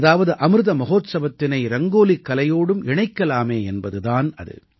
அதாவது அமிர்த மஹோத்சவத்தினை ரங்கோலிக் கலையோடும் இணைக்கலாமே என்பது தான் அது